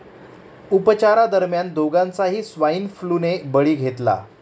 उपचारादरम्यान दोघांचाही swine flu ने बळी घेतला.